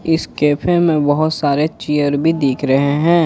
इस कैफे में बहुत सारे चेयर भी दिख रहे हैं।